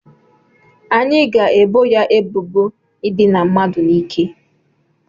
Anyị ga-ebo ya ebubo ịdịna mmadụ n'ike